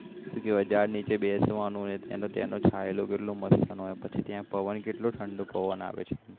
સુ કેવાય જાડ નીચે બેસવાનું અને ત્યાં પછી ત્યાં નો કેટલો મસ્ત હોય ને ત્યાં પવન કેટલો ઠંડો આવે છે